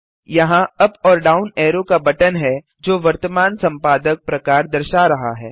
यहाँ अप और down arrow का बटन है जो वर्तमान संपादक प्रकार दर्शा रहा है